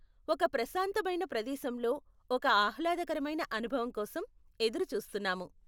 ఒక ప్రశాంతమైన ప్రదేశంలో ఒక ఆహ్లాదకరమైన అనుభవం కోసం ఎదురు చూస్తున్నాము.